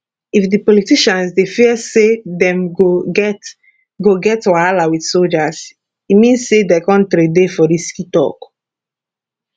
if di politicians dey fear say dem go get go get wahala wit soldiers e mean say di kontiri dey for risk e tok